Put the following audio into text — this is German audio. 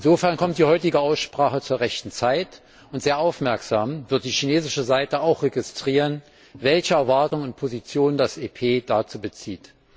Insofern kommt die heutige Aussprache zur rechten Zeit, und sehr aufmerksam wird die chinesische Seite auch registrieren, welche Erwartungen und Positionen das EP dazu bezieht.